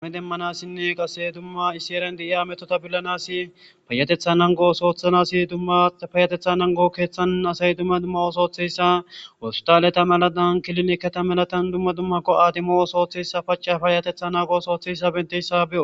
ani demmanassinne qase dumma issi eren de7iya ametota billanasi payatetha nango osooththanasi dummapaayatetha nango keeththan asay dumma dumma osooththeyssa wostaleta malatan kilinekketa malatan dumma dummakko aadimo osooththeyssa pacafayatetha nago osootheyssa benteyssa be7o